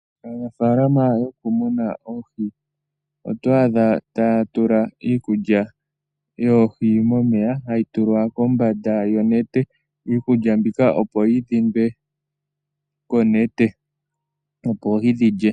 Aanafaalana yokumuna oohi otwaadha taya tula iikulya yoohi momeya hayi tulwa kombanda yonete, iikulya mbika opo yi dhindwe konete, opo oohi dhi lye.